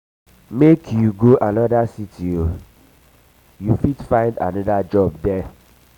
make you go anoda city o you fit find anoda job there.